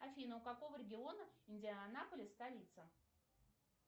афина у какого региона индианаполис столица